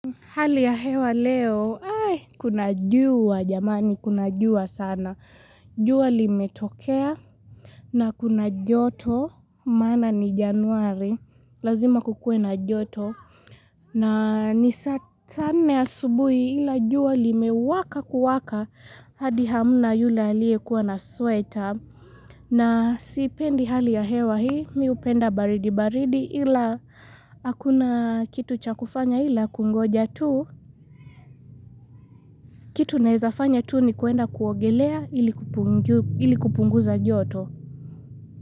Hali ya hewa leo, kuna juwa jamani, kuna juwa sana, jua limetokea, na kuna joto, mana ni januari, lazima kukue na joto, na ni satane ya subuhi ila juwa limewaka kuwaka, hadi hamuna yule alie kuwa na sweta, na sipendi hali ya hewa hii, miupenda baridi baridi ila akuna kitu cha kufanya ila kungoja tuu, kitu nezafanya tu ni kuenda kuogelea ili kupunguza joto.